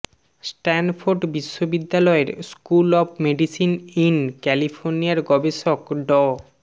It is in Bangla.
স্ট্যানফোর্ড বিশ্ববিদ্যালয়ের স্কুল অব মেডিসিন ইন ক্যালিফোর্নিয়ার গবেষক ড